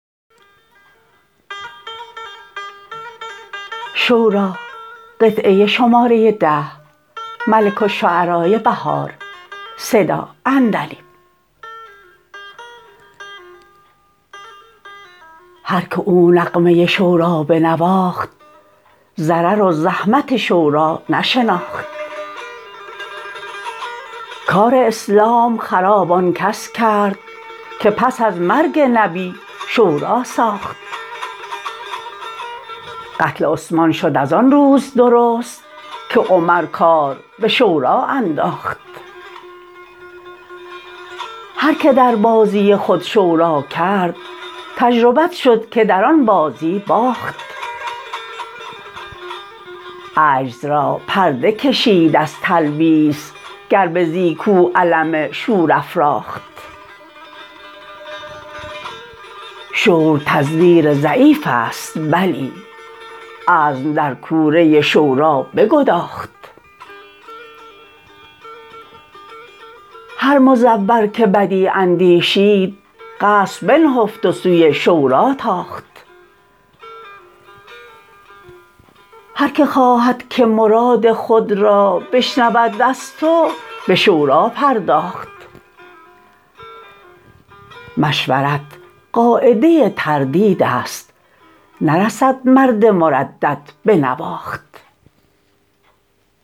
هرکه او نغمه شوری بنواخت ضرر و زحمت شوری نشناخت کار اسلام خراب آن کس کرد که پس ازمرگ نبی شوری ساخت قتل عثمان شد از آن روز درست که عمر کار به شوری انداخت هرکه در بازی خود شوری کرد تجربت شدکه در آن بازی باخت عجز را پرده کشید از تلبیس گر بزی کاو علم شور افراخت شور تزویر ضعیف است بلی عزم در کوره شوری بگداخت هر مزور که بدی اندیشید قصد بنهفت و سوی شوری تاخت هرکه خواهدکه مراد خود را بشنود از تو به شوری پرداخت مشورت قاعده تردید است نرسد مرد مردد بنواخت